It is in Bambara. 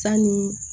Sanni